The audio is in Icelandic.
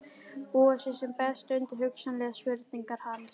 Búa sig sem best undir hugsanlegar spurningar hans.